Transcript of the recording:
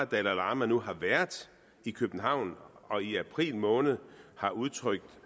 dalai lama nu har været i københavn og i april måned har udtrykt